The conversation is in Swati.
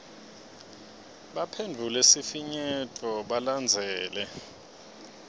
baphendvule sifinyeto balandzele